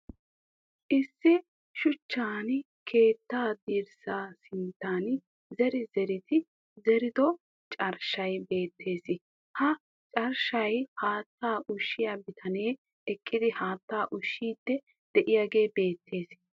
Issi shuchchan keettaa dirssaa sinttan ziri ziridi zerido carshshay beettes. Ha carshshaa haattaa ushshiya bitanee eqqidi haattaa ushshiiddi diyagee beettes.